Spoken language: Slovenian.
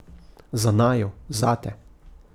Za naju, zate.